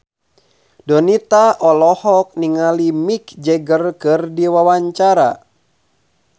Donita olohok ningali Mick Jagger keur diwawancara